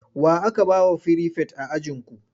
Wa aka ba wa firifet a ajinku?